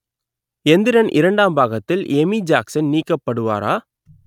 எந்திரன் இரண்டாம் பாகத்தில் Amy Jackson நீக்கப்படுவாரா?